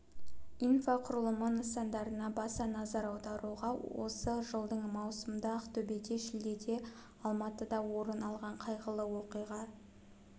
инфрақұрылымы нысандарына баса назар аударуға осы жылдың маусымында ақтөбеде шілдеде алматыда орын алған қайғылы оқиға